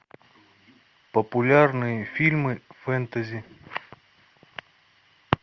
популярные фильмы фэнтези